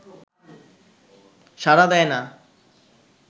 সাড়া দেয় না